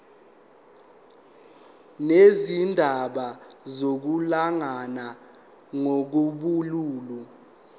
nezindaba zokulingana ngokobulili